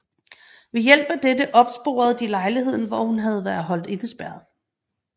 Ved hjælp af dette opsporede de lejligheden hvor hun havde været holdt indespærret